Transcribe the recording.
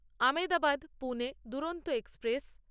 Ahmedabad Pune Duronto express